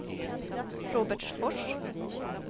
Robertsfors